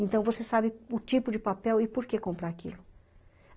Então, você sabe o tipo de papel e por que comprar aquilo.